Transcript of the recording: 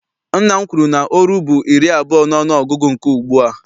Nna m kwuru na oru bụ iri abụọ n'ọnụgụgụ nke ugbua.